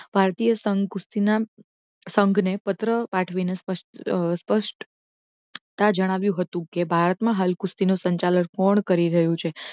ભારતીય સંઘ કુસ્તીના સંઘને પત્ર પાઠવીને સ્પષ્ટ સ્પષ્ટતા જણાવ્યું હતું કે ભારતમાં હાલ કુસ્તીનો સંચાલન કોણ કરી રહ્યું છે